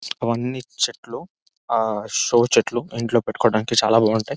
అవన్నీ చెట్లు. ఆ సో చెట్లు ఇంట్లో పెట్టుకోడానికి చాలా బాగుంటాయ్.